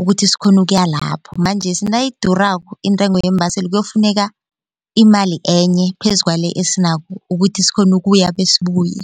ukuthi sikghone ukuya lapho. Manjesike nayidurako intengo yeembaseli kuyokufuneka imali enye phezu kwale esinayo ukuthi sikghone ukuya besibuye.